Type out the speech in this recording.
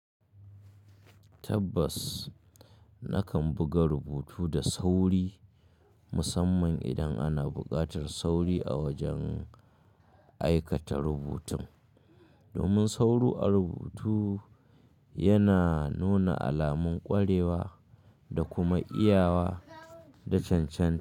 Tabbas, nakan buga rubutu da sauri musamman idan ana buƙatar sauri a wajen aikata rubutun. Domin sauro a rubutu yana nuna alamun ƙwarewa da kuma iyawa da cancanta.